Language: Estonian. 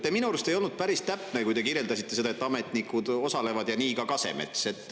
Te minu arust ei olnud päris täpne, kui te kirjeldasite seda, et ametnikud osalevad ja nii ka Kasemets.